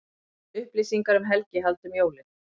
Upplýsingar um helgihald um jólin